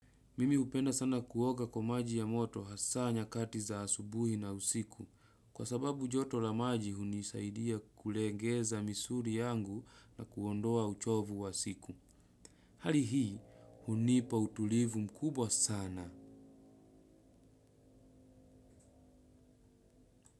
Mimi hupenda sana kuoga kwa maji ya moto hasa nyakati za asubuhi na usiku. Kwa sababu joto la maji hunisaidia kulegeza misuri yangu na kuondoa uchovu wa siku. Hali hii hunipa utulivu mkubwa sana.